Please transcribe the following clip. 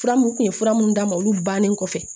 Fura mun kun ye fura munnu d'a ma olu bannen kɔfɛ